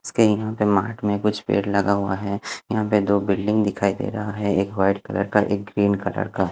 इसके यहा पे मार्ट में कुछ पेड़ लगा हुआ है यहा पे दो बिल्डिंग दिखाई दे रहा है एक वाइट कलर का एक ग्रीन कलर का--